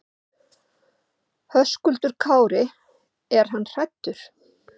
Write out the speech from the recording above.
Höskuldur Kári: Er hann hræddur?